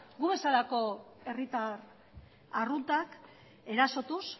gu bezalako herritar arruntak erasotuz